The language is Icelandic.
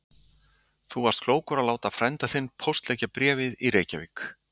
En þú varst klókur að láta frænda þinn póstleggja bréfið í Reykjavík.